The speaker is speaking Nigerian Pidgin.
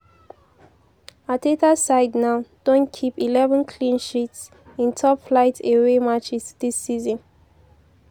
arteta side now don keep eleven clean sheets in top-flight away matches dis season.